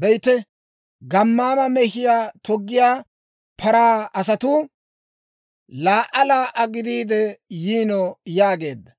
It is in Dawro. Be'ite, gammaama mehiyaa toggiyaa paraa asatuu laa"a laa"a gidiide yiino» yaageedda.